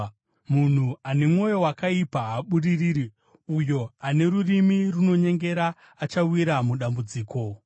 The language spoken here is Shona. Munhu ane mwoyo wakaipa haabudiriri; uyo ane rurimi runonyengera achawira mudambudziko.